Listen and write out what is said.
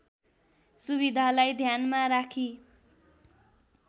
सुविधालाई ध्यानमा राखी